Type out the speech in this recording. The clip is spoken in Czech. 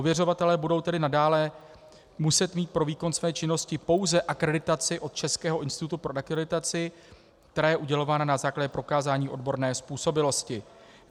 Ověřovatelé budou tedy nadále muset mít pro výkon své činnosti pouze akreditaci od Českého institutu pro akreditaci, která je udělována na základě prokázání odborné způsobilosti.